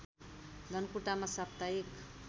धनकुटामा साप्ताहिक